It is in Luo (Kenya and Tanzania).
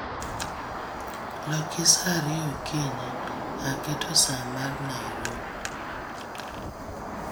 loki saa ariyo okinyi, aketo saa mar nairobi